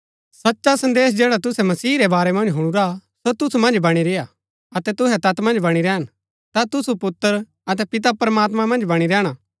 सचा संदेश जैडा तुसै मसीह रै बारै मन्ज हुणुरा सो तुसु मन्ज बणी रेय्आ अतै तुहै तैत मन्ज बणी रैहन ता तुसु पुत्र अतै पिता प्रमात्मां मन्ज बणी रैहणा